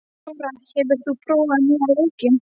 Dóra, hefur þú prófað nýja leikinn?